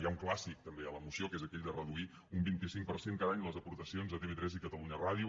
hi ha un clàssic també a la moció que és aquell de reduir un vint cinc per cent cada any les aportacions a tv3 i catalunya ràdio